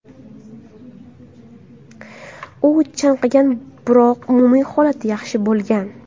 U chanqagan, biroq umumiy holati yaxshi bo‘lgan.